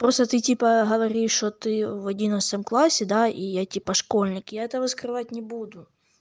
просто ты типа говоришь что ты в одиннадцатом классе да и я типа школьник я этого скрывать не буду